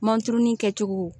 Manturunin kɛ cogo